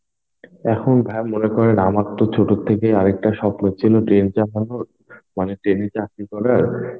এখন ভাই মনে করেন আমার তো ছোট থেকেই আরেকটা স্বপ্ন ছিল Train চাপানোর মানে ট্রেনে চাকরি করার,